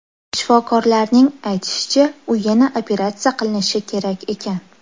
Shifokorlarning aytishicha, u yana operatsiya qilinishi kerak ekan.